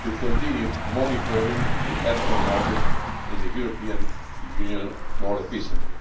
to continue monitoring the ethanol market in the European Union more efficiently.